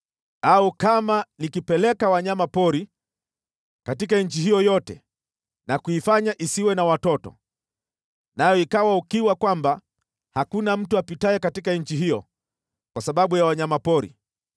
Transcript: “Au kama nikipeleka wanyama pori katika nchi hiyo yote na kuifanya isiwe na watoto, nayo ikawa ukiwa kwamba hakuna mtu apitaye katika nchi hiyo kwa sababu ya wanyama pori,